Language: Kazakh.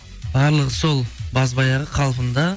барлығы сол базбаяғы қалпында